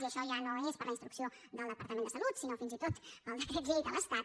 i això ja no és per la instrucció del departament de salut sinó fins i tot pel decret llei de l’estat